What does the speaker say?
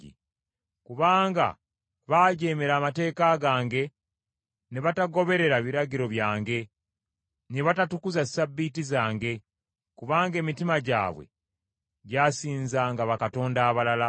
kubanga baajeemera amateeka gange ne batagoberera biragiro byange, ne batatukuza Ssabbiiti zange, kubanga emitima gyabwe gyasinzanga bakatonda abalala.